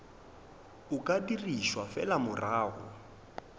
o ka dirišwa fela morago